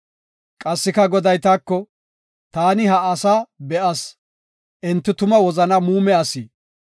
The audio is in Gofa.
Qassika Goday taako, “Taani ha asaa be7as; enti tuma wozana muume asi.